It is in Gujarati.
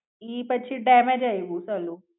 ઈ પછી ડેમેજ આય્વુ પેલું.